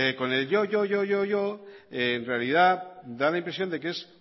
con el yo yo yo en realidad da la impresión de que es